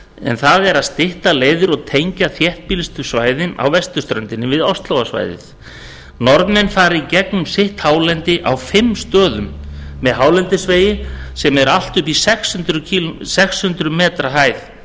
en það er að stytta leiðir og tengja þéttbýlustu svæðin á vesturströndinni við óslóarsvæðið norðmenn fara í gegnum sitt hálendi á fimm stöðum með hálendisvegi sem eru allt að sex hundruð